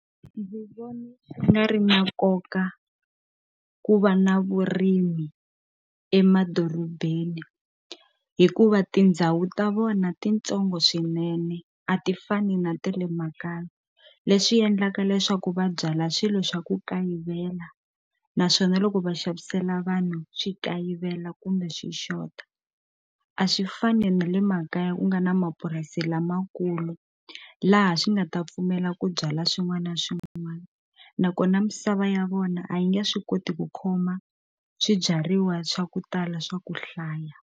Ndzi vona swi nga ri na nkoka ku va na vurimi emadorobeni hikuva tindhawu ta vona ti ntsongo swinene a ti fani na ta le makaya leswi endlaka leswaku va byala swilo swa ku kayivela naswona loko va xavisela vanhu swi kayivela kumbe swi xota a swi fani na le makaya u nga na mapurasi lamakulu laha swi nga ta pfumela ku byala swin'wana na swin'wana nakona misava ya vona a yi nge swi koti ku khoma swibyariwa swa ku tala swa ku hlaya.